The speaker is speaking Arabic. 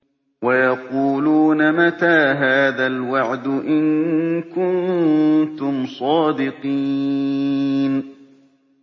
وَيَقُولُونَ مَتَىٰ هَٰذَا الْوَعْدُ إِن كُنتُمْ صَادِقِينَ